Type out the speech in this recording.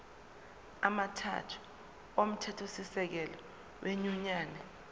amathathu omthethosisekelo wenyunyane